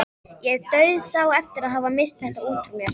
Ég dauðsá eftir að hafa misst þetta út úr mér.